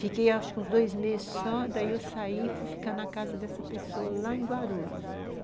Fiquei, acho que uns dois meses só, daí eu saí e fui ficar na casa dessa pessoa lá em Guarulhos.